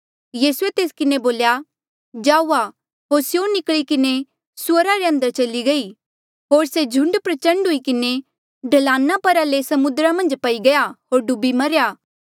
यीसूए तेस किन्हें बोल्या जाऊआ होर स्यों निकली किन्हें सुअरा रे अंदर चली गई होर से झुंड प्रचण्ड हुई किन्हें ढलाना परा ले समुद्रा मन्झ पई गया होर डूबी मरेया